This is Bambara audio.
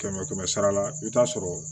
Kɛmɛ kɛmɛ sara la i bɛ taa sɔrɔ